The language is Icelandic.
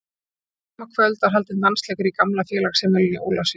Þetta sama kvöld var haldinn dansleikur í gamla félagsheimilinu í Ólafsvík.